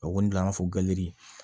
O kɔni an b'a fɔ gazi